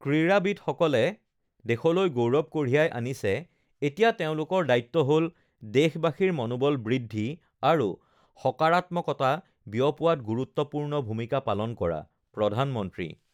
ক্ৰীড়াবিদসকলে দেশলৈ গৌৰৱ কঢ়িয়াই আনিছে, এতিয়া তেওঁলোকৰ দায়িত্ব হ ল দেশবাসীৰ মনোবল বৃদ্ধি আৰু সকৰাত্মকতা বিয়পোৱাত গুৰুত্বপূৰ্ণ ভূমিকা পালন কৰাঃপ্ৰধানমন্ত্ৰী